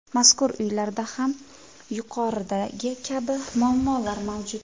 Mazkur uylarda ham yuqoridagi kabi muammolar mavjud.